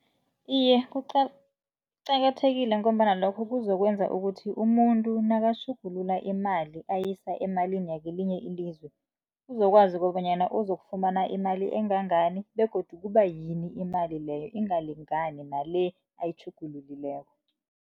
Iye, kuqakathekile ngombana lokho kuzokwenza ukuthi umuntu nakutjhugulula imali ayisa emalini wakwelinye ilizwe uzokwazi kobanyana uzokufumana imali engangani begodu kuba yini imali leyo engalingani nale ayitjhugululileko.